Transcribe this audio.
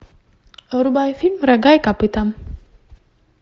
врубай фильм рога и копыта